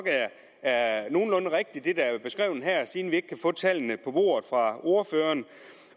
er nogenlunde rigtigt siden vi ikke kan få tallene på bordet fra ordføreren